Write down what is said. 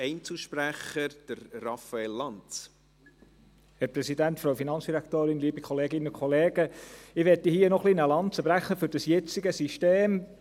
Ich möchte hier noch ein wenig eine Lanze brechen für das jetzige System.